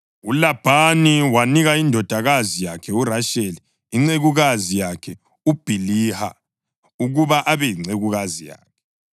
ULabhani wanika indodakazi yakhe uRasheli incekukazi yakhe uBhiliha ukuba abe yincekukazi yakhe.